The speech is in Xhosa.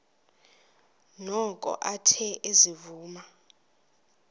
noko athe ezivuma